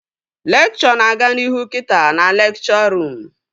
Lekchọ na-aga n'ihu kita na lekchọ ruum